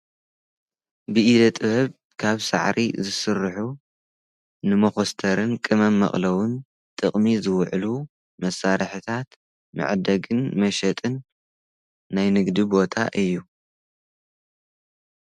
ብኢደ ጥበብ ካብ ሰዕሪ ዝሥርሑ ንመዂስተርን ክመመቕለዉን ጥቕሚ ዝውዕሉ መሣርሕታት መዕደግን መሸጥን ናይንግዲ ቦታ እዩ።